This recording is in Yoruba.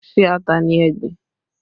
Ṣé ata ni ẹ gbìn?